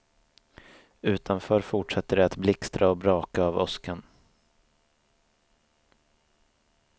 Utanför fortsatte det att blixtra och braka av åskan.